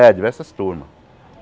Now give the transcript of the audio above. É, diversas turma.